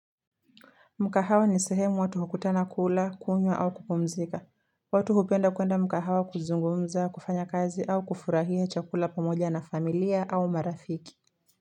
Mkahawa ni sehemu watu hukutana kula, kunywa au kupumzika. Watu hupenda kuenda mkahawa kuzungumza, kufanya kazi au kufurahia chakula pamoja na familia au marafiki.